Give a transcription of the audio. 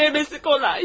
Diləməsi kolay.